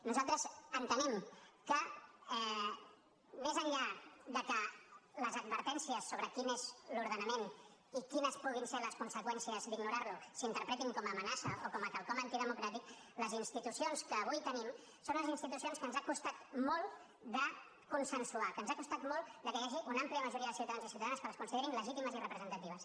nosaltres entenem que més enllà que les advertències sobre quin és l’ordenament i quines puguin ser les conseqüències d’ignorar lo s’interpretin com a amenaça o com a quelcom antidemocràtic les institucions que avui tenim són unes institucions que ens ha costat molt de consensuar que ens ha costat molt que hi hagi una àmplia majoria de ciutadans i ciutadanes que les considerin legítimes i representatives